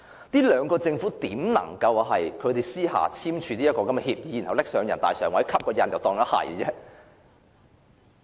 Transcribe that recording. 特區政府又如何能私下簽署協議，然後提交人大常委會蓋章成事？